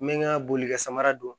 N bɛ n ka boli kɛ samara don